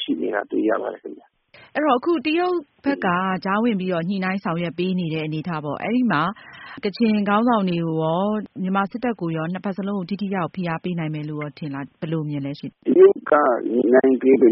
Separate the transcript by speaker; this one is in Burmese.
Speaker 1: ရှိနေတာတွေ တွေ့ရပါတယ် ခင်ဗျ။ မေး။
Speaker 2: ။ အဲ့တော့ တရုတ်ဘက်က ကြားဝင်ပြီးတော့ ညှိနှိုင်းဆောင်ရွက်ပေးနေတဲ့ အနေအထားပေါ့ အဲ့ဒီ့မှာ ကချင်ခေါင်းဆောင်တွေကိုရော မြန်မာစစ်တပ်ကိုရော ဖိအားပေးနိုင်မယ်လို့ထင်လား ဘယ်လိုထင်လဲ။ "
Speaker 3: တရုတ်က ညှိနှိုင်းပေးပေ